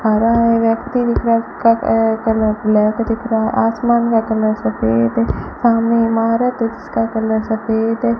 खड़ा है व्यक्ति दिख रहा अ उसका कलर ब्लैक दिख रहा आसमान का कलर सफेद है सामने इमारत है जीसका कलर सफेद है।